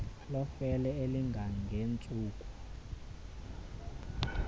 lofefe elinga ngentsuku